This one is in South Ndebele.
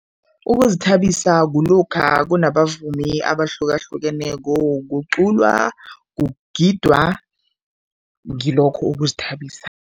Ukuzithabisa kulokha kunabavumi abahlukahlukeneko, kuculwa, kugidwa, ngilokho ukuzithabisa.